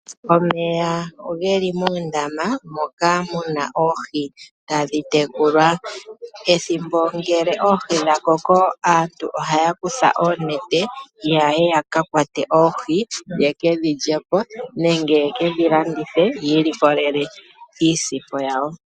Omeya geli muundama, moka mu na oohi tadhi tekulwa. Ethimbo ngele oohi dha koko, aantu ohaya kutha oonete yaye ya kakwate oohi yekedhi lyepo, nenge yekedhi landithe, yi ilikolele iisimpo yawo.